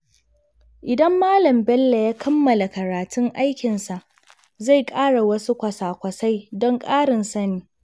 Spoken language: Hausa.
Idan Malam Bello ya kammala karatun aikinsa, zai fara wasu kwasa-kwasai don ƙarin sani.